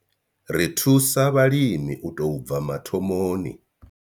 Ri thusa vhalimi u tou bva mathomoni.